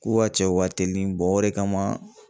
K'u ka cɛw ka teli o de kama